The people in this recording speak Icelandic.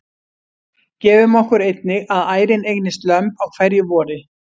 Gefum okkur einnig að ærin eignist lömb á hverju vori.